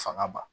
Fanga ban